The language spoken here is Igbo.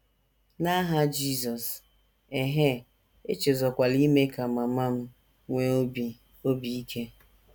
N’aha Jizọs... ehee, echezọkwala ime ka mama m nwee obi obi ike.